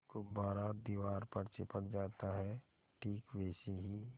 गुब्बारा दीवार पर चिपक जाता है ठीक वैसे ही